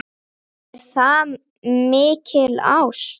Er það mikil ást?